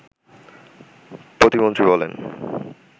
প্রতিমন্ত্রী বলেন